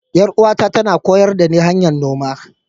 Yar'uwata tana koyar dani hanyar noma.